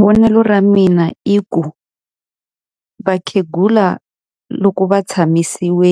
Vonelo ra mina i ku, vakhegula loko va tshamisiwe